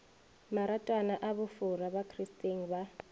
maratwana a bofora bakristeng ba